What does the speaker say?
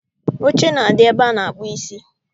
Oche na-adị ebe a na-akpụ isi